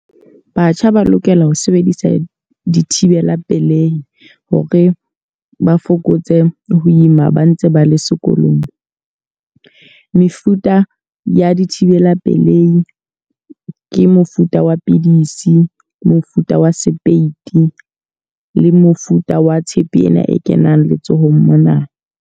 Batjha ba lokela ho sebedisa dithibela pelehi hore ba fokotse ho ima ba ntse ba le sekolong. Mefuta ya dithibela pelei ke mofuta wa pidisi, mofuta wa sepeiti le mofuta wa tshepe ena e kenang letsohong mona.